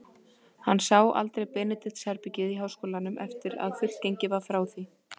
Hann sá aldrei Benedikts-herbergið í háskólanum, eftir að fullgengið var frá því.